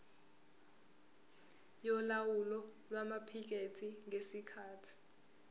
yolawulo lwamaphikethi ngesikhathi